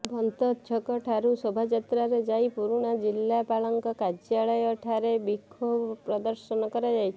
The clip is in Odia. ବନ୍ତ ଛକ ଠାରୁ ଶୋଭାଯାତ୍ରାରେ ଯାଇ ପୁରୁଣା ଜିଲ୍ଲାପାଳଙ୍କ କାର୍ଯ୍ୟାଳୟ ଠାରେ ବିକ୍ଷୋଭ ପ୍ରଦର୍ଶନ କରାଯାଇଛି